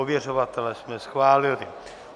Ověřovatele jsme schválili.